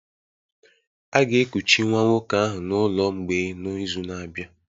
A ga-ekuchi nwa nwoke ahụ n'ụlọ mgbei n'izu na-abịa